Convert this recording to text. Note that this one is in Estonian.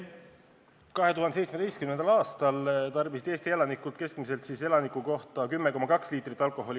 2017. aastal tarbisid Eesti elanikud keskmiselt 10,2 liitrit alkoholi.